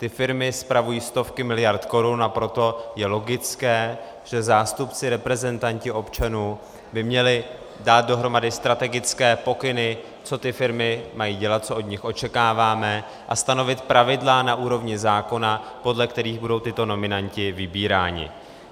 Ty firmy spravují stovky miliard korun, a proto je logické, že zástupci, reprezentanti občanů by měli dát dohromady strategické pokyny, co ty firmy mají dělat, co od nich očekáváme, a stanovit pravidla na úrovni zákona, podle kterých budou tito nominanti vybíráni.